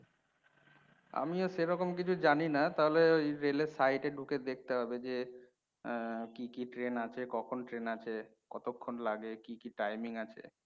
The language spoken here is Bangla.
আমি ও সেরকম কিছু জানিনা, তাহলে ওই rail এর side এ ঢুকে দেখতে হবে, ঐ যে কি কি ট্রেন আছে, কখন ট্রেন আছে, কতক্ষণ লাগে, কি কি timing আছে।